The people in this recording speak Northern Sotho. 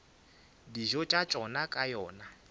dijo tša tšona ka yona